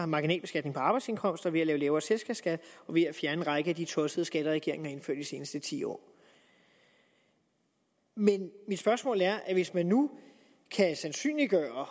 marginalbeskatning på arbejdsindkomster ved at indføre lavere selskabsskat og ved at fjerne en række af de tossede skatter regeringen har indført i de seneste ti år men mit spørgsmål er hvis man nu kan sandsynliggøre og